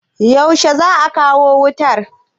Yaushe za'a waso wuƙar?